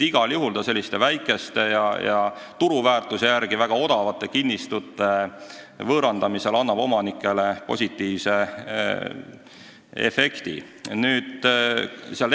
Igal juhul annab see väikeste ja turuväärtuse järgi väga odavate kinnistute võõrandamisel omanikele positiivse efekti.